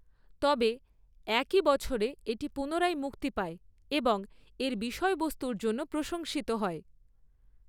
তবে, একই বছরে এটি পুনরায় মুক্তি পায় এবং এর বিষয়বস্তুর জন্য প্রশংসিত হয়।